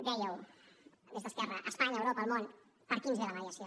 dèieu des d’esquerra espanya europa el món per aquí ens ve la mediació